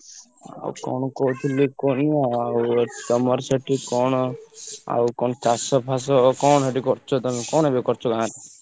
ଆଉ କଣ କହୁଥିଲି କୁହନି ଆଉ ତମର ସେଠି କଣ ଆଉ କଣ ଚାଷ ଫାଶ କଣ ସେଠି କରୁଚ ତମେ କଣ ଏବେ କରୁଚ ଗାଁରେ?